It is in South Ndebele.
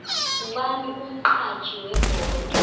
ngubani umxhatjhi webholo